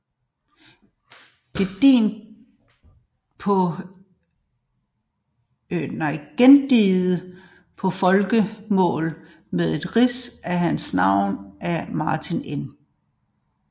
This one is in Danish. Gendigtet på folkemål med et rids af hans liv af Martin N